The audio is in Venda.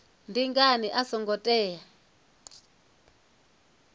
ndi ngani a songo tea